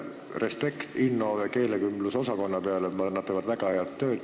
Respekt Innove keelekümbluskeskuse suhtes: nad teevad väga head tööd.